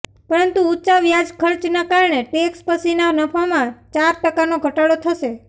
પરંતુ ઊંચા વ્યાજખર્ચના કારણે ટેક્સ પછીના નફામાં ચાર ટકાનો ઘટાડો થશે